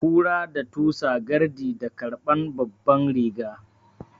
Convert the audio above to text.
Kura da tusa gardi da garɓan babban riga